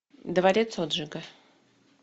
дворец отжига